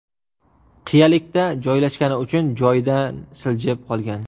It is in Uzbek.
Qiyalikda joylashgani uchun joyidan siljib qolgan.